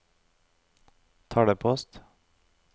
talepost